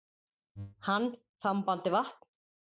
Hann þambandi vatn.